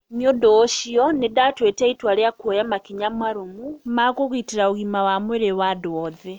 'Nĩ ũndũ ũcio, nĩ ndatuĩte itua rĩa kuoya makinya marũmu ma kũgitĩra ũgima wa mwĩrĩ wa andũ othe.'